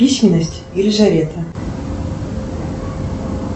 письменность елизавета